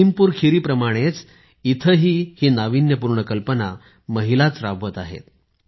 लखीमपुरखीरी प्रमाणेच इथेही ही नावीन्यपूर्ण कल्पना महिलाच राबवत आहेत